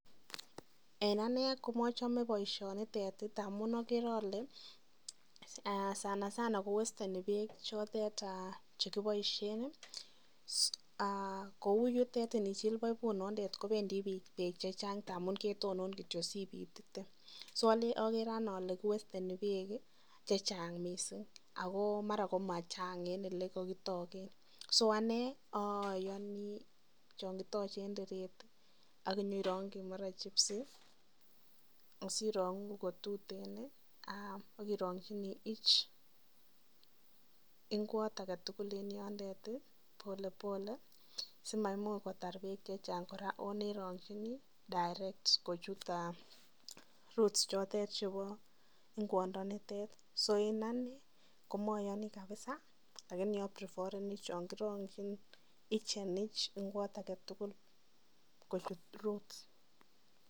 En anee komochome boishonitet amun okere olee sana sana kowesteni beek chotet chekiboishen kounitet ndichil boibunitet kobendi beek chechang ndamun ketonon kityo sipiit, so okere anee olee kiwesteni beek chechang mising ak ko mara komachang en elekitoken mising, so ko anee oyoni chon kitoche ak mara inyerongyi chebis asirongu kotuten ak irongyini each ing'wot aketukul en yonder polepole simaimuch kotar beek chechang oo nerongyini direct kochut roots chotet chebo ing'wondonitet, so en anee komoyoni kabisaa lakini abriforeni chon kirongyin each and each ing'wot aketukul kochut roots.